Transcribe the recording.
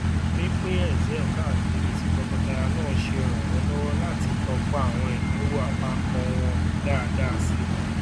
pínpín excel káàkiri tí tọkọtaya náà ṣe ràn wọn lọwọ láti tọpa àwọn ináwó àpapọ wọn dáadáa sí i